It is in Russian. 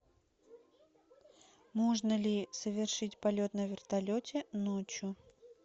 можно ли совершить полет на вертолете ночью